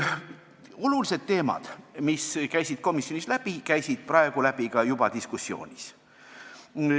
" Olulised teemad, mis käisid komisjonist läbi, käisid läbi ka praegusest diskussioonist.